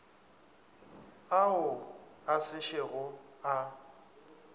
ao a se šego a